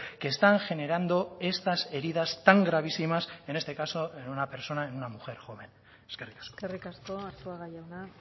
que están generando estas heridas tan gravísimas en este caso en una persona en una mujer joven eskerrik asko eskerrik asko arzuaga jauna